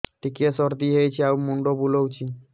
ଟିକିଏ ସର୍ଦ୍ଦି ହେଇଚି ଆଉ ମୁଣ୍ଡ ବୁଲାଉଛି